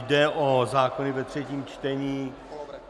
Jde o zákony ve třetím čtení.